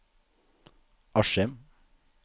Askim